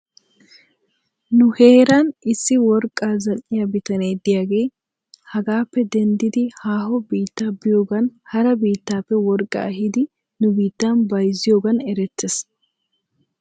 Nu heeran issi worqqaa zal"iyaa bitane diyaagee hagaappe denddidi haaho biitta biyoogan hara biitappe worqaa ehidi nu biittan bayzziyoogan erettes.